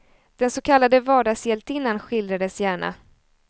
Den så kallade vardagshjältinnan skildrades gärna.